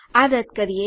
આ રદ કરીએ